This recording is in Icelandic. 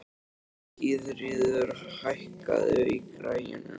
Gyðríður, hækkaðu í græjunum.